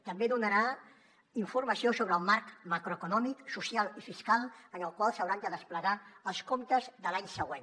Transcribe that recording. també donarà informació sobre el marc macroeconòmic social i fiscal en el qual s’hauran de desplegar els comptes de l’any següent